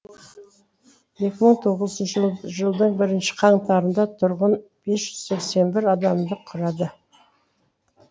екі мың тоғызыншы жылдың бірінші қаңтарында тұрғын бес жүз сексен бір адамды құрады